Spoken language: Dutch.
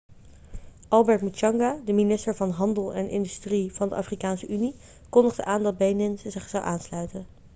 albert muchanga de minister van handel en industrie van de afrikaanse unie kondigde aan dat benin zich zou aansluiten